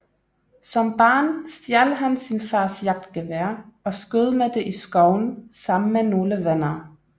Som barn stjal han sin fars jagtgevær og skød med det i skoven sammen med nogle venner